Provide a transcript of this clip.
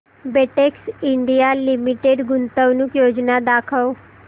Betex India limited गुंतवणूक योजना दाखव